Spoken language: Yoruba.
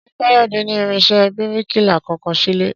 Ṣé Káyọ̀dé ní irinṣẹ́ bíríkìlà kankan sílé?